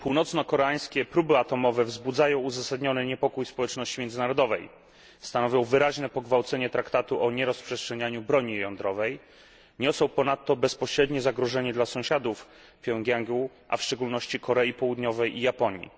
Północnokoreańskie próby atomowe wzbudzają uzasadniony niepokój społeczności międzynarodowej, stanowią wyraźne pogwałcenie traktatu o nierozprzestrzenianiu broni jądrowej, niosą ponadto bezpośrednie zagrożenie dla sąsiadów Pjongjangu, a w szczególności Korei Południowej i Japonii.